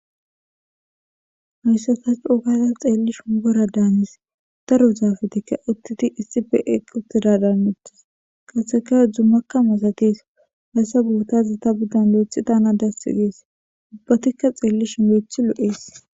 Hayssa tha coo gada xeellishin woradaanis; daro zaaefezikka uththidi eqqi7uththidaadanes; izikka dummakka masathes; haysa boothan thaani uththidaakko thana dassi gees; ubbathikka xeellishin loyththi lo7ees.